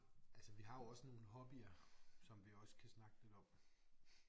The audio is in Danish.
Altså vi har jo også nogle hobbyer som vi også kan snakke lidt om